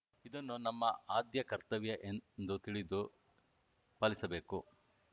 ಇದನ್ನು ನಮ್ಮ ಆದ್ಯ ಕರ್ತವ್ಯ ಎಂದು ತಿಳಿದು ಪಾಲಿಸಬೇಕು